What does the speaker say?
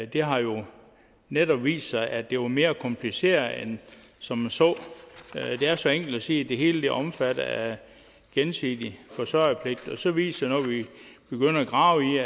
det har jo netop vist sig at det var mere kompliceret end som så det er så enkelt at sige at det hele er omfattet af gensidig forsørgerpligt og så viser at grave i